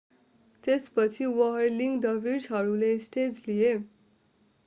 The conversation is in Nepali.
त्यसपछि व्हर्लिङ डर्भिसहरूले स्टेज लिए